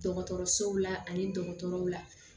Dɔgɔtɔrɔsow la ani dɔgɔtɔrɔw la